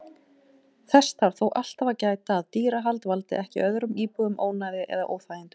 Þess þarf þó alltaf að gæta að dýrahald valdi ekki öðrum íbúum ónæði eða óþægindum.